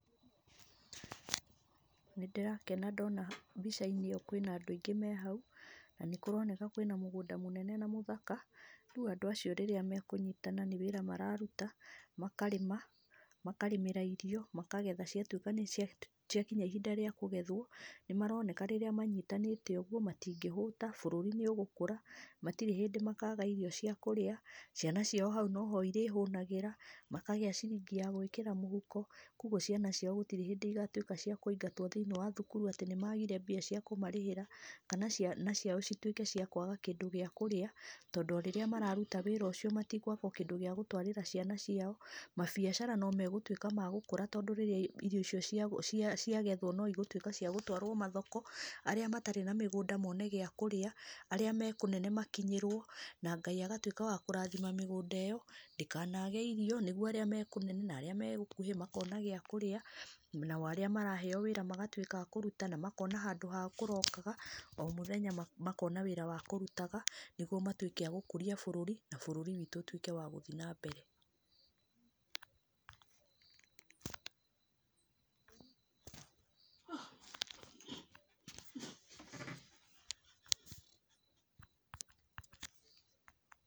Nĩndĩrakena ndona mbĩca-inĩ ĩyo kwĩna andũ aingĩ me hau. Na nĩ kũroneka kwĩna mũgũnda mũnene na mũthaka, rĩu andũ acio rĩrĩa mekũnyitana nĩ wĩra mararuta makarĩma, makarĩmĩra irio, makagetha ciatuĩka ciakinya ihinda rĩa kũgethwo. Nĩ maroneka rĩrĩa manyitanĩte ũguo matingĩhũta, bũrũri nĩ ũgũkũra, gũtirĩ hĩndĩ makaga irio ciakũrĩa, ciana ciao hau no ho cirĩhũnagĩra, makagĩa ciringi ya gwĩkĩra mũhuko, koguo ciana ciao gũtirĩ hĩndĩ cigatuĩka ciakũingatwo thĩiniĩ wa thukuru, atĩ nĩ magire mbia cia kũmarĩhĩra, kana ciana ciao cituĩke ciakũaga kĩndũ gia kũrĩa, tondũ o ũrĩa mararuta wĩra ũcio, matikwaga kĩndũ gia gũtwarĩra ciana ciao, mabiacara no magũtuika magũkũra tondũ rĩrĩ, irio icio ciagethwo no igũtuĩka ciagũtwarwo mathoko, arĩa matarĩ na mĩgũnda mone gia kũria, aria me kũnene makinyĩrwo na Ngaĩ agatuĩka wa kũrathima mĩgũnda ĩyo, ndĩkanage irio nĩguo arĩa me kũnene na arĩa me gũkũhĩ makona gĩa kũrĩa, nao arĩa maraheyo wĩra magatuĩka akũruta, makona handũ ha kũrokaga o mũthenya makona wĩra wa kũrutaga, nĩguo matuĩke agũkũria bũrũri, na bũrũri witũ ũtuĩke wa gũthiĩ na mbere.